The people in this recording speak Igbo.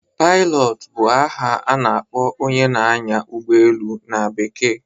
Pailọt bụ aha na-akpọ onye na-anyá ụgbọelu na Bekee